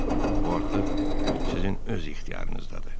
Bu artıq sizin öz ixtiyarınızdadır.